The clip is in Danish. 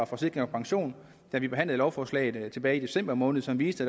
forsikring pension da vi behandlede lovforslaget tilbage i december måned som viste